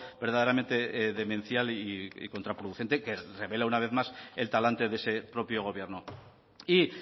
verdaderamente demencial y contraproducente que revela una vez más el talante de ese propio gobierno y